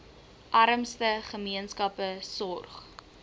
armste gemeenskappe sorg